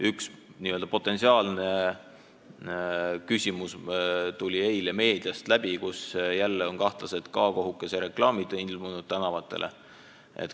Üks potentsiaalne küsimus jooksis eile meediast läbi: jälle on tänavatele ilmunud kahtlased K-kohukese reklaamid.